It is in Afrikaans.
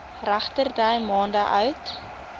regterdy maande oud